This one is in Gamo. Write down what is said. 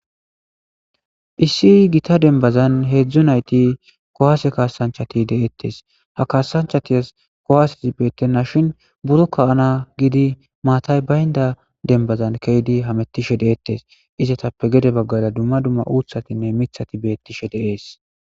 issi gita denbazan heedzdzu nayti kowaase kaasanchati deeettes ha kaasanchatiyas kowaasezi beettenna shin buro kawana gidi maatay baynda denbazan keydi hamettishe deettes izetappe gede baggala dumma dumma uuthatinne mithati beettishe de'ees